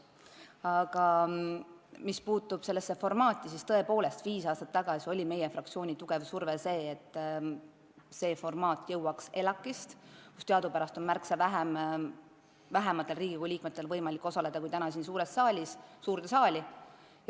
Aga mis puutub sellesse formaati, siis tõepoolest, viis aastat tagasi oli meie fraktsiooni tugev soov, et see formaat jõuaks ELAK-ist, kus teadupärast on märksa vähematel Riigikogu liikmetel võimalik osaleda kui täna siin, suurde saali.